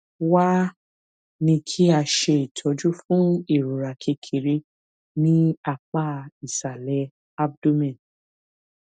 wá a ní kí a ṣe itọju fún ìrora kékeré ní apá ìsàlè abdomen